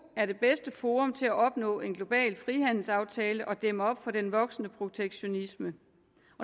er det bedste forum til at opnå en global frihandelsaftale og dæmme op for den voksende protektionisme